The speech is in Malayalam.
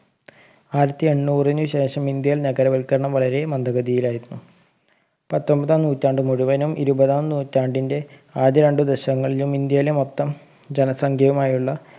ആയിരത്തി എണ്ണൂറിനു ശേഷം ഇന്ത്യയിൽ നഗരവൽകരണം വളരേ മന്ദഗതിയിലായിരുന്നു പത്തൊമ്പതാം നൂറ്റാണ്ട് മുഴുവനും ഇരുപതാം നൂറ്റാണ്ടിൻറെ ആദ്യ രണ്ട് ദശങ്ങളിലും ഇന്ത്യയിലെ മൊത്തം ജനസംഖ്യയുമായുള്ള